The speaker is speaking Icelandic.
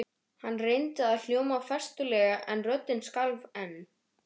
Hann reyndi að hljóma festulega en röddin skalf enn.